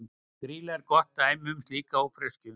Grýla er gott dæmi um slíka ófreskju.